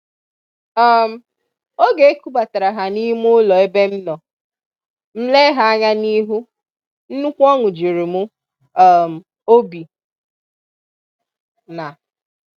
um Oge e kubatara ha n'ime ulo ebe m nọ, m lee ha anya n’ihu, nnukwu oṅụ juru m um obi.\n